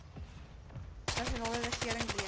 nasionale regering lewer